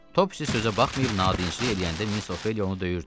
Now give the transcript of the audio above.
Topsi sözə baxmayıb nadinclik eləyəndə Miss Ofeliya onu döyürdü.